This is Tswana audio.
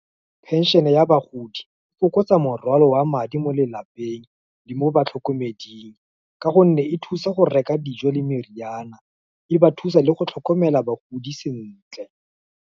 Pension-e ya bagodi, e fokotsa morwalo wa madi mo lelapeng, le mo batlhokomeding, ka gonne e thusa go reka dijo, le meriana, e ba thusa le go tlhokomela bagodi sentle.